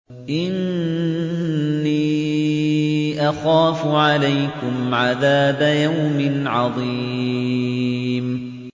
إِنِّي أَخَافُ عَلَيْكُمْ عَذَابَ يَوْمٍ عَظِيمٍ